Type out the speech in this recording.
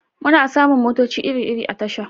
Muna samun motoci iri-iri a tasha